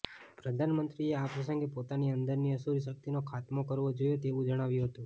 પ્રધાનમંત્રીએ આ પ્રસંગે પોતાની અંદરની અસુરી શક્તિનો ખાતમો કરવો જોઈએ તેવું જણાવ્યુ હતુ